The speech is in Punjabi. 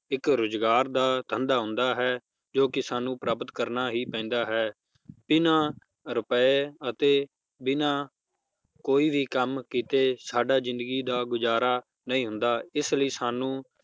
ਇੱਕ ਰੁਜ਼ਗਾਰ ਦਾ ਧੰਦਾ ਹੁੰਦਾ ਹੈ ਜੋ ਕਿ ਸਾਨੂੰ ਪ੍ਰਾਪਤ ਕਰਨਾ ਹੀ ਪੈਂਦਾ ਹੈ, ਬਿਨਾਂ ਰੁਪਏ ਅਤੇ ਬਿਨਾਂ ਕੋਈ ਵੀ ਕੰਮ ਕੀਤੇ ਸਾਡਾ ਜ਼ਿੰਦਗੀ ਦਾ ਗੁਜ਼ਾਰਾ ਨਹੀਂ ਹੁੰਦਾ, ਇਸ ਲਈ ਸਾਨੂੰ